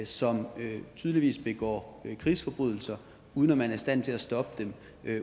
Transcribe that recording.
som tydeligvis begår krigsforbrydelser uden at man er i stand til at stoppe dem